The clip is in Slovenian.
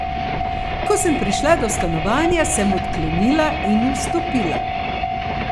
Ko sem prišla do stanovanja, sem odklenila in vstopila.